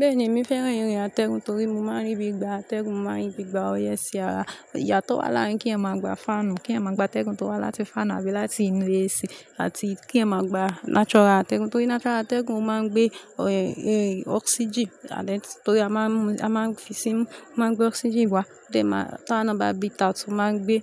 Bẹ́ẹ̀ni, èmi fẹ́ràn ìrìn àtẹ̀gùn torí mo máa ń rí bí gbà atẹ́gùn, mo máa ń rí bí ìgbà oye sí àrà. Ìyà tó wà láàárín kí ẹ máa gba faanu, kí ẹ máa gba atẹ́gùn tó wá láti fáànà, abí láti inú AC, àti kí ẹ máa gba natural atẹ́gùn. Torí natural atẹ́gùn máa ń gbé, oxygen àdẹ́, torí a máa ń mu, a máa ń fi sí mú, o máa ń gbé oxygen wá. Tẹ máa, a wà nà bá breath out, ó máa ń gbé,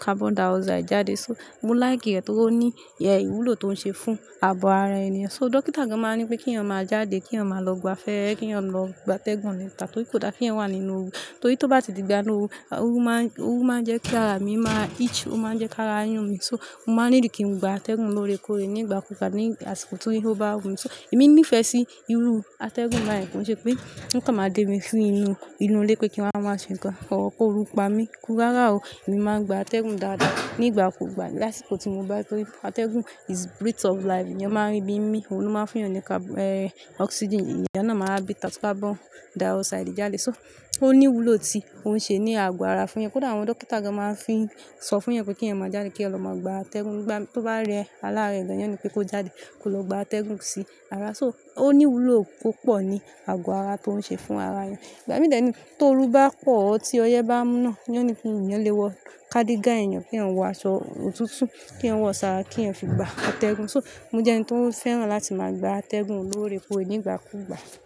carbon dioxide jáde. So, mo like rẹ̀ torí ó ní ìyen ìwúlò tó ń ṣe fún ààgo ara ènìyàn. So, dókítà gan máa ń nipé kí eyan má jáde, kí eyan má lọ gbafẹ́, kí eyan lọ gba atẹ́gùn níta torí kò da kí eyan wà nínú òru. Torí tó bá ti di ìgbà inu òru, òru máa ń, òru máa ń jẹ́ kí ara mi máa itch, ó máa ń jẹ́ kí ara yún mi. So, mo máa ń need kí n gba atẹ́gùn lóre kore ní ìgbà kú gbà, ní àsìkò tí ó bá wù mí. So, èmi nífẹ̀ẹ́ sí irú atẹ́gùn báyen kí n ṣe pé ó kàn máa dé mi si inú, inú ilé pé kí n wá, máa ṣe nǹkan kọ́, kó ru pa mí. Rárá o, èmi máa ń gba atẹ́gùn dáadáa. Ní ìgbà kú ìgbà lásìkò tí mo bá, torí pe atẹ́gùn is breath of life. Èèyàn máa ń rí bí mi, òun ló máa ń fún ẹni ní car-- e, oxygen. Ẹ̀yàn náà máa breath out cárbọ́n dioxide jáde. So, ó ní ìwúlò tí òun ṣe ní àgọ́ ara fún eyan. Kódà àwọn dókítà gan máa ń fi sọ fún eyan pé kí eyan má jáde, kí eyan lọ máa gba atẹ́gùn. Tó bá rẹ, alára rẹ gan, wọ́n óò ní pé kó jáde kó lọ gba atẹ́gùn sí ara. So, ó ní ìwúlò púpọ̀ ní àgọ́ ara tó ń ṣe fún ara ènìyàn. Ìgbà mí de ni, tó oru bá pọ̀, tí ọyẹ́ bá mu ná, wọ́n ní pé èèyàn lè wọ kádígà èèyàn, kí etan wọ aṣọ òtútù, kí eyan wọ ṣààrà kí eyan fi gba atẹ́gùn. So, mo jẹ́ ẹni tó fẹ́ràn láti máa gba atẹ́gùn lóre kore ní ìgbà kú ìgbà.